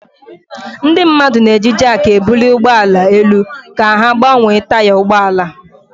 Ndị mmadụ na-eji jakị ebuli ụgbọ ala elu ka ha gbanwee taya ụgbọ ala.